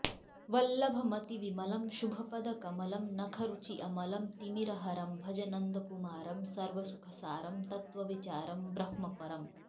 वल्लभमतिविमलं शुभपदकमलं नखरुचि अमलं तिमिरहरं भज नन्दकुमारं सर्वसुखसारं तत्त्वविचारं ब्रह्मपरम्